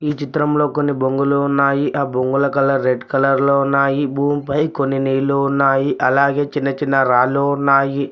ఈ చిత్రంలో కొన్ని బొంగులు ఉన్నాయి ఆ బొంగుల కలర్ రెడ్ కలర్ లో ఉన్నాయి భూమిపై కొన్ని నీళ్ళు ఉన్నాయి అలాగే చిన్న చిన్న రాళ్లు ఉన్నాయి.